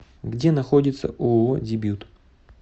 где находится ооо дебют